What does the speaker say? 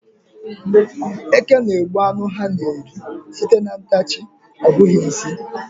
Eke na-egbu ánụ ha na-eri sìté na ntachi, ọ bụghị nsị.